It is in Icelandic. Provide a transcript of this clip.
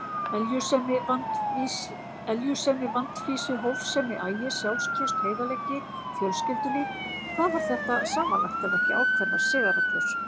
Eljusemi, vandfýsi, hófsemi, agi, sjálfstraust, heiðarleiki, fjölskyldulíf: hvað var þetta samanlagt ef ekki ákveðnar siðareglur?